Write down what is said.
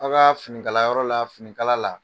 A ka fini kala yɔrɔ la finikala la